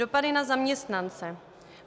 Dopady na zaměstnance.